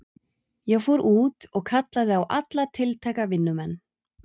Ég fór út og kallaði á alla tiltæka vinnumenn.